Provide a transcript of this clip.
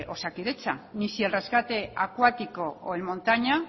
osakidetza ni si el rescate acuático o en montaña